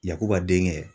Yakuba den kɛ